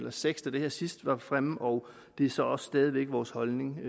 og seks da det her sidst var fremme og det er så stadig væk vores holdning den